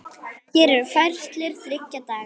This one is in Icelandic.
Hér eru færslur þriggja daga.